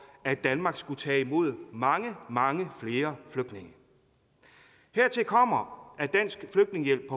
at danmark skulle tage imod mange mange flere flygtninge hertil kommer at dansk flygtningehjælp